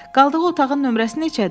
Qaldığı otağın nömrəsi neçədir?